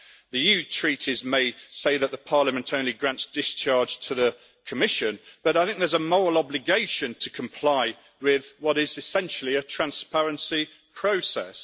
The EU Treaties may say that the Parliament only grants discharge to the Commission, but I think there is a moral obligation to comply with what is essentially a transparency process.